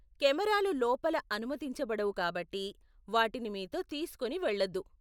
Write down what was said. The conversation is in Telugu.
కెమేరాలు లోపల అనుమతించబడవు కాబట్టి వాటిని మీతో తీసుకుని వెళ్లొద్దు .